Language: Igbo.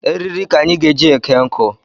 Eriri ka anyị ga-eji eke nkụ